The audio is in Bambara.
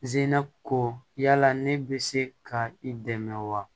Zinako yala ne bɛ se ka i dɛmɛ wa